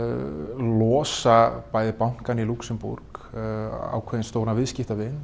losa bæði bankann í Lúxemborg stóran viðskiptavin